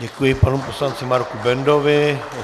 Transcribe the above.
Děkuji panu poslanci Marku Bendovi.